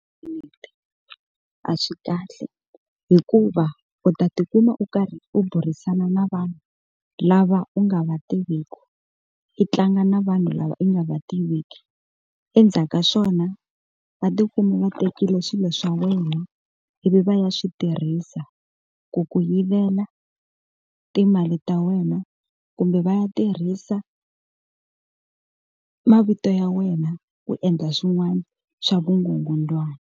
A swi kahle hikuva u ta tikuma u karhi u burisana na vanhu lava u nga va tiviku i tlanga na vanhu lava i nga va tiveki endzhaku ka swona va tikuma va tekile swilo swa wena ivi va ya swi tirhisa ku ku yivela timali ta wena kumbe va ya tirhisa mavito ya wena ku endla swin'wana swa vugungundzwana.